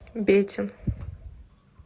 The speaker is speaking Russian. бетин